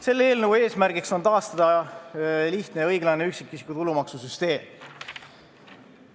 Selle eelnõu eesmärgiks on taastada lihtne ja õiglane üksikisiku tulumaksu süsteem.